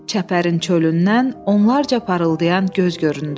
Çəpərin çölündən onlarla parıldayan göz göründü.